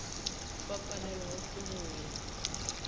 ba palelwago ke go ya